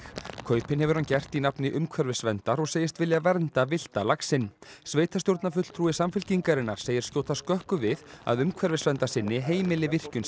kaupin hefur hann gert í nafni umhverfisverndar og segist vilja vernda villta laxinn sveitarstjórnarfulltrúi Samfylkingarinnar segir skjóta skökku við að umhverfisverndarsinni heimili virkjun